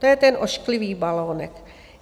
To je ten ošklivý balonek.